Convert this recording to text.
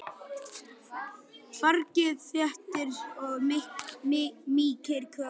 Fargið þéttir og mýkir kökuna.